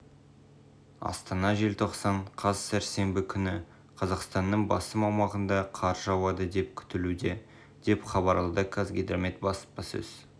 астана желтоқсан қаз сәрсенбі күні қазақстанның басым аумағында қар жауады деп күтілуде деп хабарлады қазгидромет баспасөз